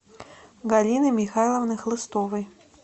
галины михайловны хлыстовой